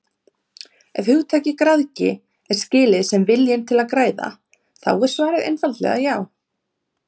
Ef hugtakið græðgi er skilið sem viljinn til að græða þá er svarið einfaldlega já.